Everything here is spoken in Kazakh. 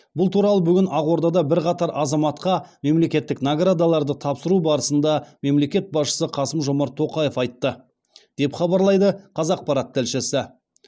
бұл туралы бүгін ақордада бірқатар азаматқа мемлекеттік наградаларды тапсыру барысында мемлекет басшысы қасым жомарт тоқаев айтты деп хабарлайды қазақпарат тілшісі